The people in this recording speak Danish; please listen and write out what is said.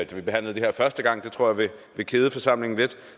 vi behandlede det her første gang det tror jeg vil kede forsamlingen lidt